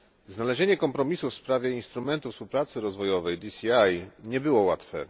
Znalezienie kompromisu w sprawie Instrumentu Współpracy Rozwojowej DCI nie było łatwe.